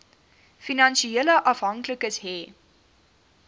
finansiële afhanklikes hê